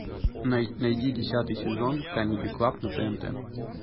найди десятый сезон камеди клаб на тнт